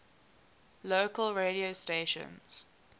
local radio stations